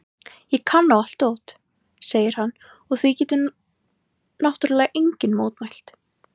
Ég kann á allt dót, segir hann og því getur náttúrlega enginn mótmælt.